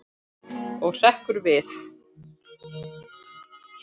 Og hrekkur við.